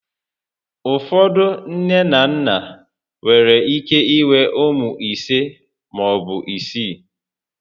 Ụfọdụ nné na nnà nwere ike inwe ụmụ ise maọbụ isii